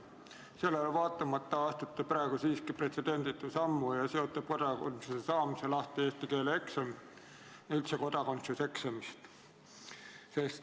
Sellele vaatamata astute praegu siiski pretsedenditu sammu ja seote kodakondsuse saamise lahti eesti keele eksamist ja muust kodakondsuseksamist.